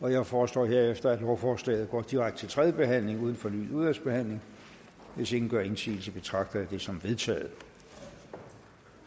jeg foreslår herefter at lovforslaget går direkte til tredje behandling uden fornyet udvalgsbehandling hvis ingen gør indsigelse betragter jeg det som vedtaget